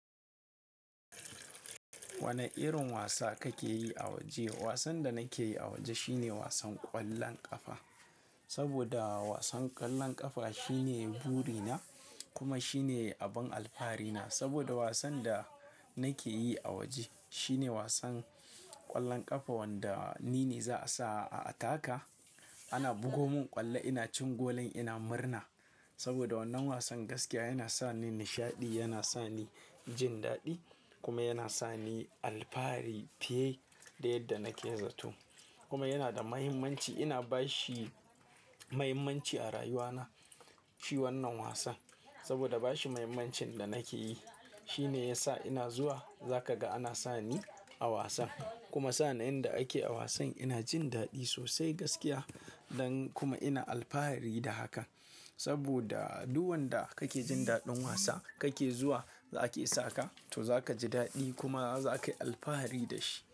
Wane irin wasa kake yi a waje? Wasan da nake yi a waje shine wasan ƙwallon ƙafa, saboda wasan ƙwallon ƙafa shine buri na, kuma shine abin alfahari na. Saboda wasan da nake yi a waje, shine wasan ƙwallon ƙafa wanda ni ne za a sa a ataka. Ana bugo mun ƙwallo ina cin golan ina murna, saboda wannan wasan gaskiya yana sa ni nishaɗi, yana sa ni jin daɗi, kuma yana sa ni alfahari fiye da yadda nake zato. Kuma yana da mahimmanci, ina bashi mahimmanci a rayuwa na, shi wannan wasan, saboda bashi mahimmancin da nake yi, shi ne ya sa ina zuwa, za ka ga ana sa ni a wasan, kuma sa'annin da ake wasan ina jin daɗi sosai gaskiya. Dan kuma ina alfahari da haka, saboda duk wanda kake jin daɗin wasa, kake zuwa, za a ke saka, to za ka ji daɗi kuma za ka yi alfahari da shi.